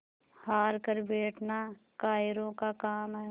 हार कर बैठना कायरों का काम है